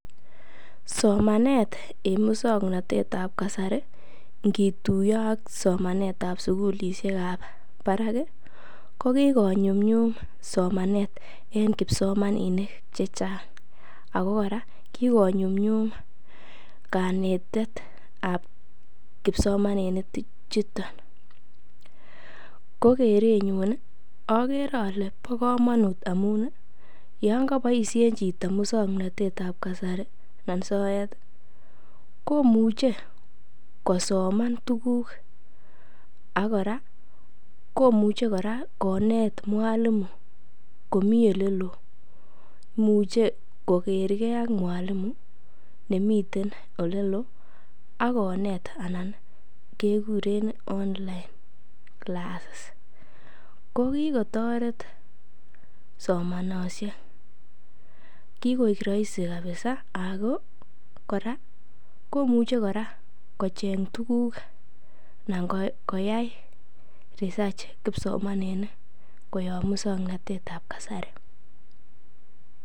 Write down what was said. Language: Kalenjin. Somanet en musong'notet ab kasari ngituiyo ak somanet sugulisiekab barak ko kikonyumnyum somanet en kipsomaninik chechang',ako kora kikonyumnyum kanetetab kipsomaninichuto, ko kerenyun ii okere ole bo komonut amun yon koboisien chito musong'notet ab kasari en soet komuche kosoman tuguk, ak kora komuche kora koneet mwalimu komi oleloo, imuche kogergee ak mwalimu nemiten oleloo ak koneet anan kekuren online classes kokitoret somanosiek, kigoik roisi kabiza ako kora komuche kora kocheng' tuguk anan koyai research kipsomaninik koyob musong'notet ab kasari.